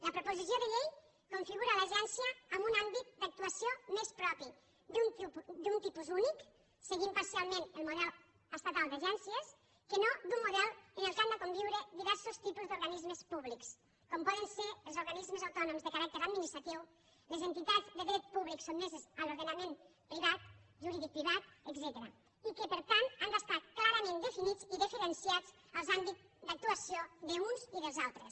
la proposició de llei configura l’agència en un àmbit d’actuació més propi d’un tipus únic seguint parcialment un model estatal d’agències que no d’un model en què han de conviure diversos tipus d’organismes públics com poden ser els organismes autònoms de caràcter administratiu les entitats de dret públic sotmeses a l’ordenament privat juridicoprivat etcètera i que per tant han d’estar clarament definits i diferenciats els àmbits d’actuació d’uns i dels altres